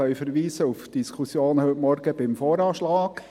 Wir können auf die Diskussion von heute Morgen zum VA verweisen.